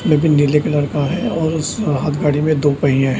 ये भी नीले कलर का है और उस हाथ गाड़ी में दो पहिए हैं।